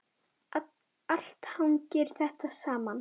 Allt hangir þetta saman.